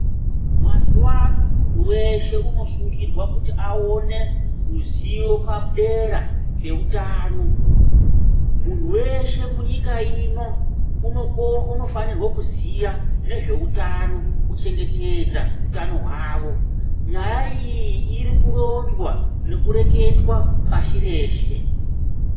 Mazuwano muntu weshe unosungirwa kuti awone ruzivo padera peutano. Munhu weshe munyika ino unoko-unofanirwa kuziya nezveutano, kuchengetedza utano hwavo. Nyaya iyi iri kuronzwa nekureketwa pashi reshe.